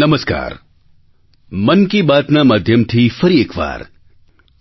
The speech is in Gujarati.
નમસ્કાર મન કી બાતના માધ્યમથી ફરી એક વાર